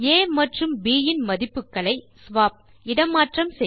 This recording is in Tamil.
ஆ மற்றும் ப் இன் மதிப்புகளை ஸ்வாப் இட மாற்றம் செய்க